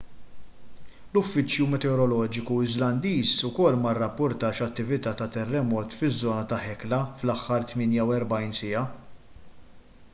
l-uffiċċju meteoroloġiku iżlandiż ukoll ma rrapportax attività ta' terremot fiż-żona ta' hekla fl-aħħar 48 siegħa